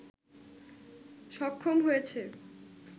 সক্ষম হয়েছে